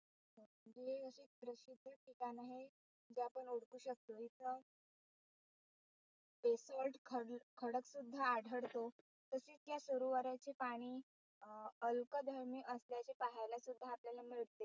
ठिकाण हे आपण ओळखू शकतो इथं Besalt खडलं खडक सुद्धा आढळतो, तसेच या सरोवराचे पाणी अं अल्कधरणीय असल्याचे सुद्धा आपल्याला पाहायला मिळते.